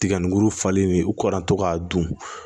Tiga ni muru falen u kɔ an to k'a dun